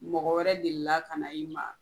Mɔgɔ wɛrɛ de la ka na i ma?